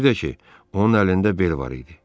Bir də ki, onun əlində bel var idi.